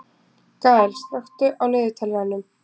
Gael, slökktu á niðurteljaranum.